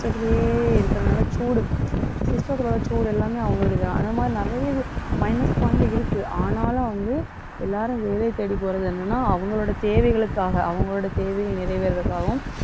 system த்திலேயே இருக்கிறதுனால சூடு. system த்தோட சூடு எல்லாமே அவங்களுக்குதான். அந்த மாதிரி நிறைய minus point இருக்கு. ஆனாலும் வந்து எல்லாரும் வேலையை தேடி போறது என்னன்னா அவங்களோட தேவைகளுக்காக, அவங்களோட தேவைகள் நிறைவேறுவதற்காகவும்,